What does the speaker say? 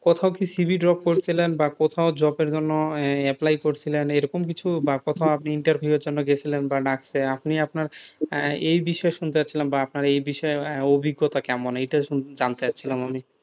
কোথাও কি CV drop করেছিলেন বা কোথাও job এর জন্য apply করেছিলেন এরকম কিছু বা কোথাও আপনি interview এর জন্য গেছিলাম বা ডাকছে আপনি আপনার এই বা আপনার এই বিশেষ অভিজ্ঞতা কেমন এটা জানতে চাইছিলাম আমি,